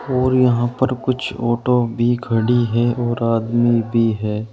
और यहां पर कुछ आटो भी खड़ी है और आदमी भी है।